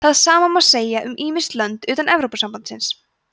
það sama má segja um ýmis lönd utan evrópusambandsins